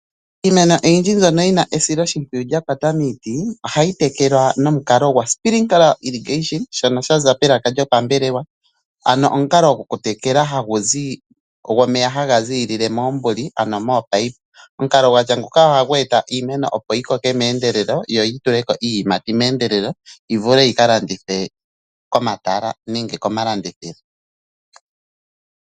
Iimeno oyindji mbyono yina esiloshimpwiyu lya kwata miiti ohayi tekelwa nomukalo gwosprinkle irrigation shono shaza melaka lyopambelewa. Ano omukalo gokutekela omeya hagazi moombuli ano moopipe. Omukalo gwatya ngaaka ohagu eta iimeno opo yi koke meendelelo yoyi tuleko iiyimati meendelo vulu yika landithwe komatala nenge komalandithilo.